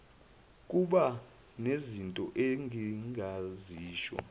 kuba nezinto engingazisho